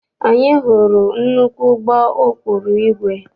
Anyị hụrụ nnukwu ụgbọ ụkpụrụ igwe.